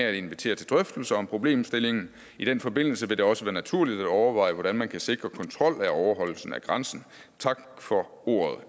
at invitere til drøftelser om problemstillingen i den forbindelse vil det også være naturligt at overveje hvordan man kan sikre kontrol af overholdelsen af grænsen tak for ordet